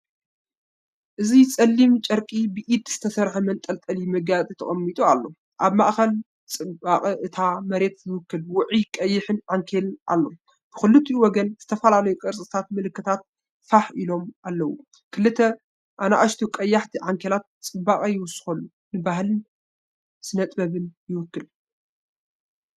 እዚ ጸሊም ጨርቂ ብኢድ ዝተሰርሐ መንጠልጠሊ መጋየፂ ተቀሚጡ ኣሎ። ኣብ ማእከል ንጽባቐ እታ መሬት ዝውክል ውዑይ ቀይሕ ዓንኬል ኣሎ። ብኽልቲኡ ወገን ዝተፈላለዩ ቅርፂታት ምልክት ፋሕ ኢሎም ኣለዉ። ክልተ ንኣሽቱ ቀያሕቲ ዓንኬላት ጽባቐ ይውስኹ፣ ንባህልን ስነ-ጥበብን ይውክሉ።